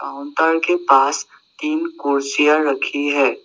Counter के पास तीन कुर्सियां रखी है।